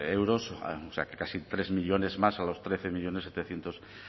euros o sea que casi tres millónes más a los trece millónes setecientos